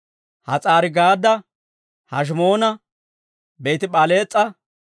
Has'aari-Gaadda, Heshimoona, Beeti-P'alees'a,